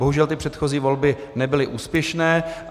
Bohužel ty předchozí volby nebyly úspěšné.